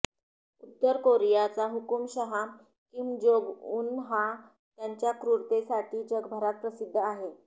उत्तर कोरियाचा हुकूमशहा किम जोंग उन हा त्याच्या क्रूरतेसाठी जगभरात प्रसिद्ध आहे